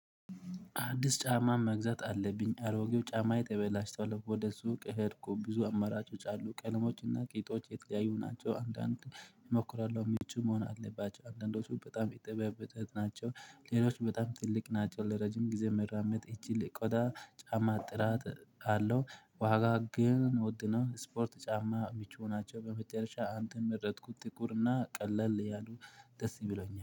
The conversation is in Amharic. አዲስ ጫማ መግዛት አለብኝ አሮጌው ጫማዬ ተበላሽቶለው ወደ ሱቅ ሄድኩ ብዙ አማራጮች አሉ ቀለሞችና ቄጦች የተለያዩ ናቸው። አንዳንድ እሞክራለው ምቹ መሆን አለባቸው አንዳንዶቹ በጣም የጠበበተት ናቸው። ሌሎች በጣም ትልቅ ናቸው ለረጅም ጊዜ መራመድ ይችል ቆዳ ጫማ ጥራት አለው። ዋጋ ግን ውድ ነው። ስፖርት ጫማ ምቹ ናቸው በመጨረሻ አንተን መረጥኩት ጥቁርና ቀለል ያሉ ደስ ቢሎኛል